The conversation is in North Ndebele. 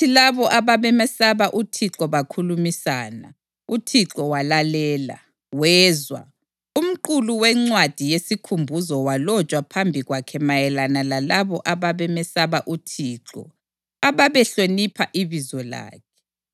Kwathi labo ababemesaba uThixo bakhulumisana, uThixo walalela, wezwa. Umqulu wencwadi yesikhumbuzo walotshwa phambi kwakhe mayelana lalabo ababemesaba uThixo ababehlonipha ibizo lakhe.